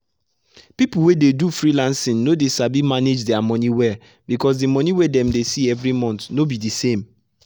people wey dey do freelancing no dey sabi manage their money wellbecause the money wey them they see everymonth no be the same.